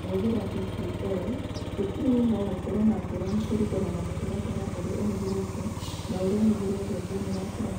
Kũhũthĩra DPL cukuru-inĩ no gũkorũo na ngũrani kũringana na mũtaratara ũrĩa ũhũthĩrĩtwo na ũrĩa ũhũthĩrĩtwo thĩinĩ wa kĩrathi.